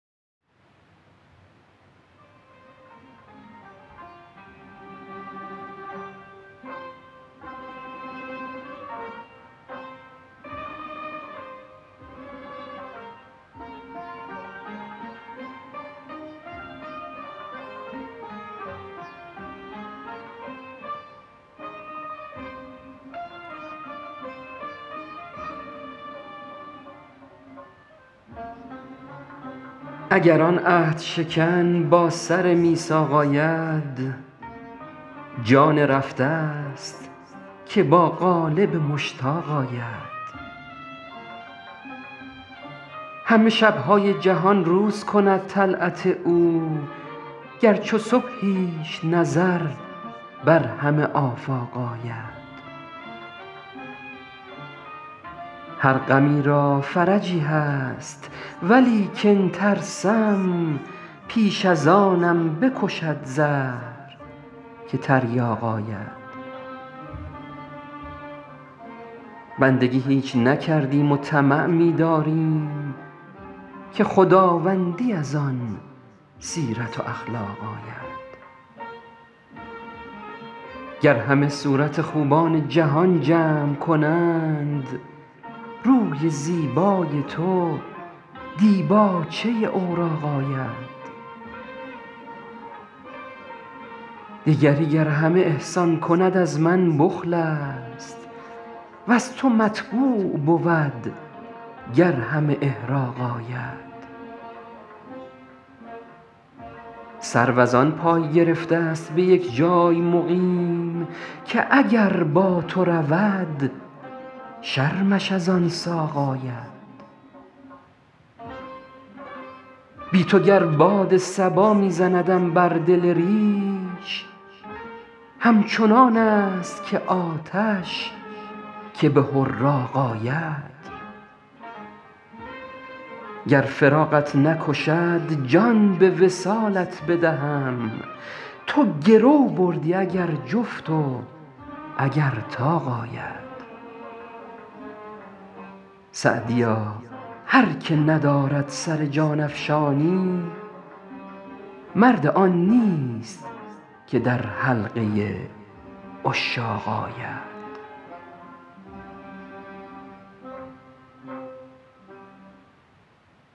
اگر آن عهدشکن با سر میثاق آید جان رفته ست که با قالب مشتاق آید همه شب های جهان روز کند طلعت او گر چو صبحیش نظر بر همه آفاق آید هر غمی را فرجی هست ولیکن ترسم پیش از آنم بکشد زهر که تریاق آید بندگی هیچ نکردیم و طمع می داریم که خداوندی از آن سیرت و اخلاق آید گر همه صورت خوبان جهان جمع کنند روی زیبای تو دیباچه اوراق آید دیگری گر همه احسان کند از من بخل است وز تو مطبوع بود گر همه احراق آید سرو از آن پای گرفته ست به یک جای مقیم که اگر با تو رود شرمش از آن ساق آید بی تو گر باد صبا می زندم بر دل ریش همچنان است که آتش که به حراق آید گر فراقت نکشد جان به وصالت بدهم تو گرو بردی اگر جفت و اگر طاق آید سعدیا هر که ندارد سر جان افشانی مرد آن نیست که در حلقه عشاق آید